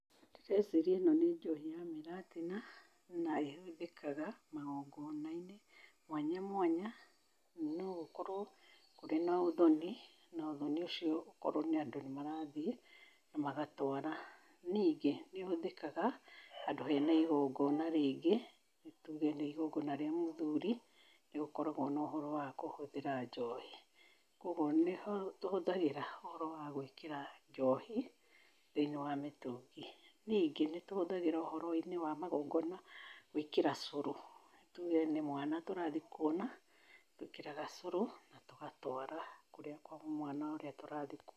Ngwĩciria ĩno nĩ njohi ya mũratina na ĩhũthĩkaga magongona-inĩ mwanya mwanya no ũkorwo kũrĩ na ũthonĩ na ũthonĩ ũcio ũkorwo andũ nĩ marathĩ na magatwara. Ningĩ nĩ ũhũthĩkaga handũ hena ĩgongona rĩngĩ tuge nĩ ĩgongona rĩa mũthuri nĩ gũkoragwo na ũhoro wa kũhũthĩra njohi. Koguo nĩ tũhũthagĩra ũhoro wa gwĩkĩra njohi thĩiniĩ wa mĩtũngi. Ningĩ nĩ tũhũthagĩra ũhoro -inĩ wa magongona gwĩkĩra cũrũ, tuge nĩ mwana tũrathĩ kuona, twĩkĩraga cũrũ na tũgatwara kũrĩa kwa mwana ũrĩa tũrathĩ kuona.